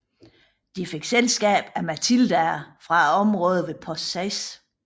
De fik selskab af Matildaer fra området ved Post 6